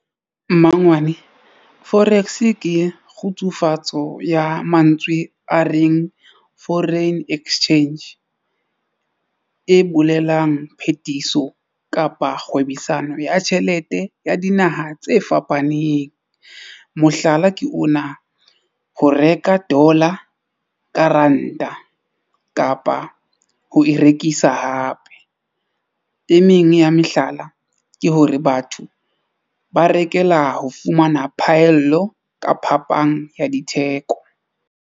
Mmangwane Forex ke kgutsufatso ya mantswe a reng foreign exchange e bolelang phetiso kapa kgwebisano ya tjhelete ya dinaha tse fapaneng. Mohlala, ke ona ho reka dollar ka ranta kapa ho e rekisa hape e meng ya mehlala ke hore batho ba rekela ho fumana phaello ka phapang ya ditheko.